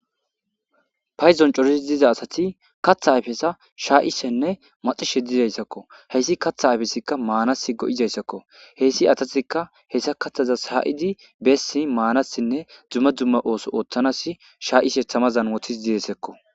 Payzon corisi diza asati katha ayfesa shaa'isenne maxishe dizayssakko heyssi katha ayfesikka maanas go'izayssakko heyssi atatikka hessa kathaza haa'idi beessi maanassinne dumma dumma ooso ooththanas shaa'ise thamazanwotis didesekko.